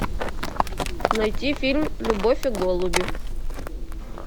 найти фильм любовь и голуби